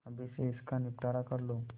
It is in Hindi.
अभी से इसका निपटारा कर लो